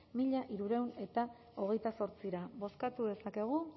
mila hirurehun eta hogeita zortzira bozkatu dezakegu